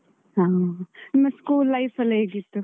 ಹಾ. ನಿಮ್ಮ school life ಎಲ್ಲ ಹೇಗಿತ್ತು?